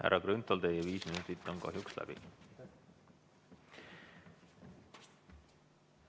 Härra Grünthal, teie viis minutit on kahjuks läbi.